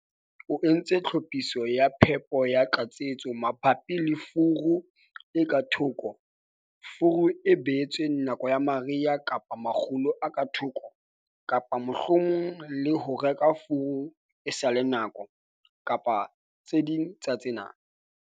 Na o entse tlhophiso ya phepo ya tlatsetso mabapi le furu e ka thoko, furu e behetsweng nako ya mariha kapa makgulo a ka thoko kapa mohlomong le ho reka furu e sa le nako, kapa tse ding tsa tsena?